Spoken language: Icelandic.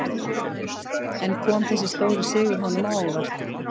En kom þessi stóri sigur honum á óvart?